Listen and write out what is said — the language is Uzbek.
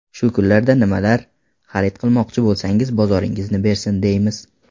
Shu kunlardan nimalar xarid qilmoqchi bo‘lsangiz, bozoringizni bersin, deymiz!